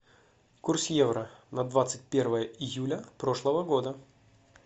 курс евро на двадцать первое июля прошлого года